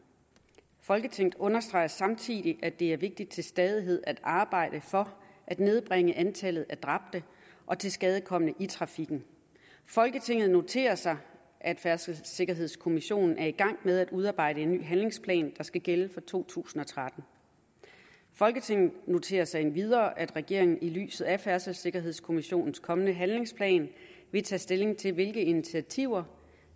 folketinget understreger samtidig at det er vigtigt til stadighed at arbejde for at nedbringe antallet af dræbte og tilskadekomne i trafikken folketinget noterer sig at færdselssikkerhedskommissionen er i gang med at udarbejde en ny handlingsplan der skal gælde fra to tusind og tretten folketinget noterer sig endvidere at regeringen i lyset af færdselssikkerhedskommissionens kommende handlingsplan vil tage stilling til hvilke initiativer